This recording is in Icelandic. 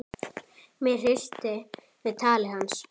Mig hryllti við tali hans.